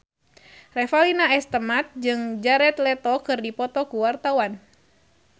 Revalina S. Temat jeung Jared Leto keur dipoto ku wartawan